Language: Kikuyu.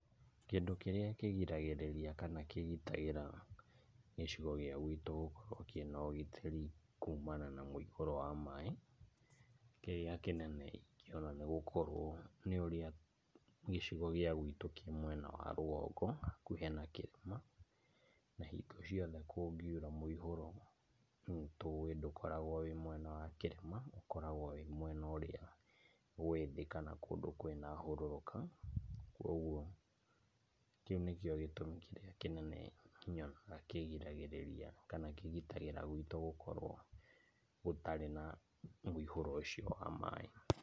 Kĩndũ kĩrĩa kĩgiragĩrĩria kana kĩgitagĩra gĩcigo gĩa gwitũ gũkorwo kĩ na ũgitĩri kuumana na mũihũro wa maĩ. Kĩrĩa kĩnene-ĩ kĩo ona nĩ gũkorwo nĩ ũrĩa gĩcigo gĩa gwitũ kĩ mwena wa rũgongo hakuhĩ na kĩrĩma. Na hingo ciothe kũngiura, mũihũro nĩtũĩ ndũkoragwo wĩ mwena wa kĩrĩma, ũkoragwo wĩ mwena ũrĩa wĩ thĩ kana kũndũ kwĩ na hũrũrũka. Kwoguo, kĩu nĩkĩo gĩtũmi kĩrĩa kĩnene nyonaga kĩgiragĩrĩria, kana kĩgitagĩra gwitũ gũkorwo gũtarĩ na mũihũro ũcio wa maĩ.